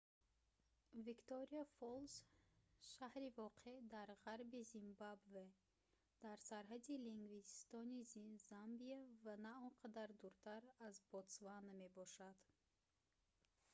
виктория-фоллс шаҳри воқеъ дар ғарби зимбабве дар сарҳади ливингстони замбия ва на он қадар дуртар аз ботсвана мебошад